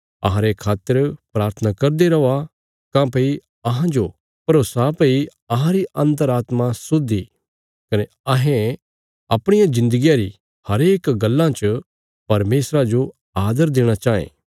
अहांरे खातर प्राथना करदे रौआ काँह्भई अहांजो भरोसा भई अहांरी अन्तरात्मा शुद्ध इ कने अहें अपणिया जिन्दगिया री हरेक गल्लां च परमेशरा जो आदर देणा चाँये